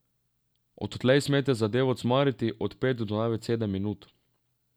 Odtlej smete zadevo cmariti od pet do največ sedem minut.